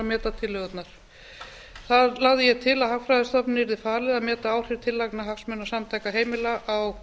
meta til að hagfræðistofnun yrði falið að meta áhrif tillagna hagsmunasamtaka heimila á